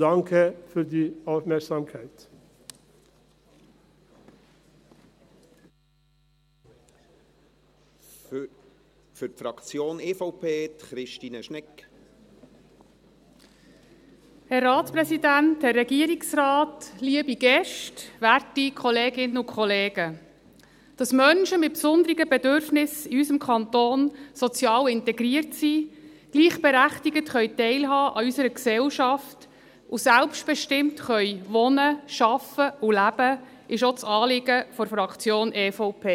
Dass Menschen mit besonderen Bedürfnissen in unserem Kanton sozial integriert sind, gleichberechtigt teilhaben können an unserer Gesellschaft und selbstbestimmt wohnen, arbeiten und leben können, ist auch das Anliegen der Fraktion EVP.